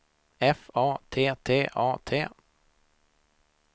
F A T T A T